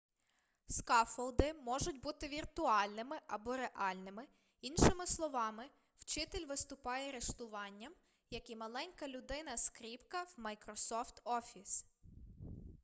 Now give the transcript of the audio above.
скаффолди можуть бути віртуальними або реальними іншими словами вчитель виступає риштуванням як і маленька людина-скріпка у майкрософт офіс